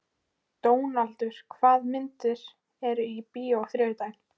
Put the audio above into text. Dónaldur, hvaða myndir eru í bíó á þriðjudaginn?